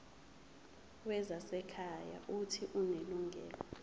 wezasekhaya uuthi unelungelo